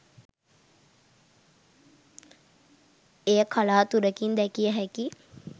එය කලාතුරකින් දැකිය හැකි